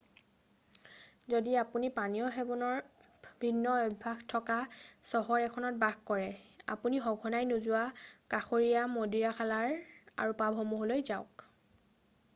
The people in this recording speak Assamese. যদি আপুনি পানীয় সেৱনৰ ভিন্ন অভ্যাস থকা চহৰ এখনত বাস কৰে আপুনি সঘনাই নোযোৱা কাষৰীয়া মদিৰাশালা আৰু পাবসমূহলৈ যাওক